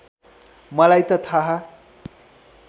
मलाई त थाहा